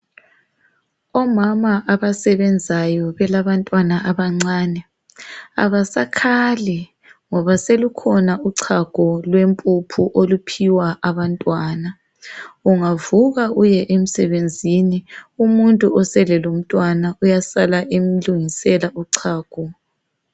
Omama abasebenzayo belabantwana abancane abasakhali ngoba selukhona uchago lwempuphu oluphiwa abantwana. Ungavuka uye emsebenzini umuntu osele lomntwana uyasala emlungisela uchago.